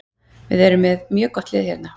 Við erum með mjög gott lið hérna.